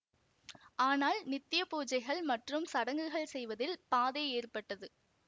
ஆனால் நித்ய பூஜைகள் மற்றும் சடங்குகள் செய்வதில் பாதை ஏற்பட்டது